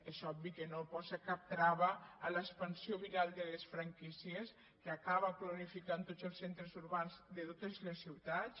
és obvi que no posa cap trava a l’expansió viral de les franquícies que acaba cloni·ficant tots els centres urbans de totes les ciutats